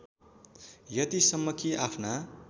यतिसम्म कि आफ्ना